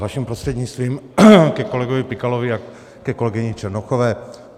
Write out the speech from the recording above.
Vaším prostřednictvím, ke kolegovi Pikalovi a ke kolegyni Černochové.